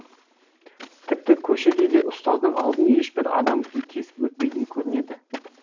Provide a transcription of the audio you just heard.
тіпті көшеде де ұстаздың алдын ешбір адам кесіп өтпейтін көрінеді